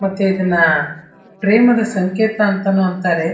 ಮತ್ತೆ ಇದನ್ನ ಪ್ರೇಮದ ಸಂಕೇತ ಅಂತಾನೂ ಅಂತಾರೆ.